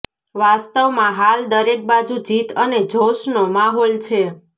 વાસ્તવમાં હાલ દરેક બાજુ જીત અને જૌશનો માહોલ છે